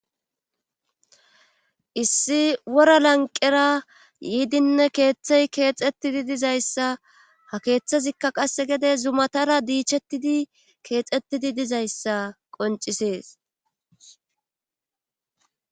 Issi wora lanqera yiidinne keeththey keexettidi dizayssa ha keeththazikka qasse gede zumatara diichettidi keexettidi dizayssa qoncisees.